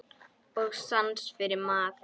Og sans fyrir mat.